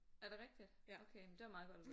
Er det rigtigt? Okay men det er da meget godt at vide